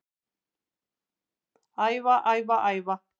Æfa, æfa, æfa